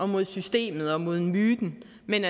mod systemet og mod myten men